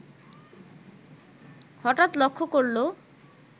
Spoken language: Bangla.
হঠাৎ লক্ষ্য করল